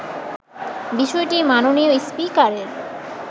বিষয়টি মাননীয় স্পিকারের